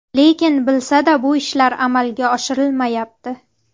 Lekin bilsa-da, bu ishlar amalga oshirilmayapti.